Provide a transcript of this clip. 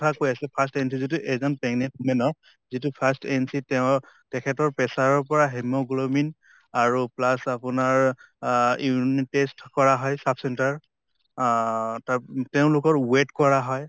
কৈ আছে first যিটো এজন pregnant women ৰ যিটো first and তেওঁৰ তেখেতৰ pressure ৰ পৰা hemoglobin আৰু plus আপোনাৰ আহ urine test কৰা হয় sub center আহ তেওঁলোকৰ weight কৰা হয়